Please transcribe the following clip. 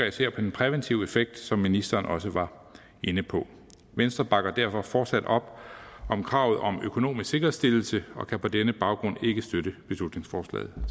især på den præventive effekt som ministeren også var inde på venstre bakker derfor fortsat op om kravet om økonomisk sikkerhedsstillelse og kan på denne baggrund ikke støtte beslutningsforslaget